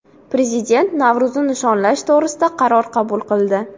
Prezident Navro‘zni nishonlash to‘g‘risida qaror qabul qildi.